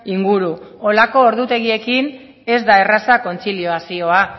inguru holako ordutegiekin ez da erraza kontziliazioa